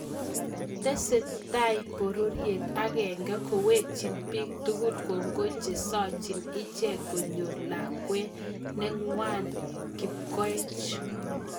Tesetai bororiet akenge kowekchin bik tugul kongoi chesachim ichek konyor lakwet nengwang kipkoech